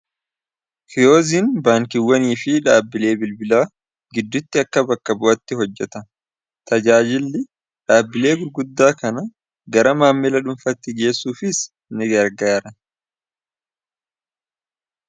kiyoozin baankiwwanii fi dhaabbilee bilbilaa giddutti akka bakka bu'atti hojjata tajaajilli dhaabbilee gurguddaa kana gara maammila dhunfatti geessuufiis ini gargaara